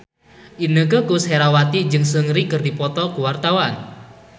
Inneke Koesherawati jeung Seungri keur dipoto ku wartawan